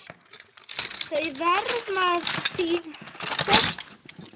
Þau verma hin þögulu orð.